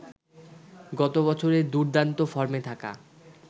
গত বছরে দুর্দান্ত ফর্মে থাকা